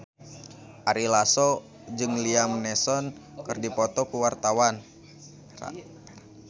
Ari Lasso jeung Liam Neeson keur dipoto ku wartawan